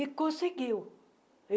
E conseguiu.